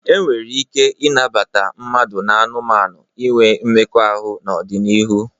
E nwere ike ịnabata mmadụ na anụmanụ inwe mmekọahụ n'ọdịnihu.